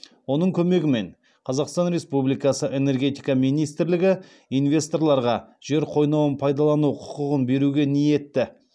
оның көмегімен қазақстан республикасы энергетика министрлігі инвесторларға жер қойнауын пайдалану құқығын беруге ниетті